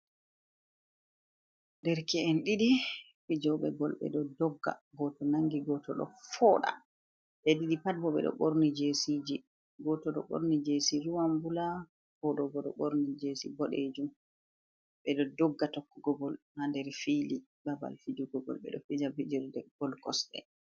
Nder ke’en didi fijobe bol, be do dogga goto nangi goto do foda! be didi pat bo bedo borni jesiji, goto do borni jesi ruwanbula, goto bo do borni jesi bodejum. Bedo dogga tokkugo gol ha nder fili babal fijugo gol, be do fija bijerde bol kosde.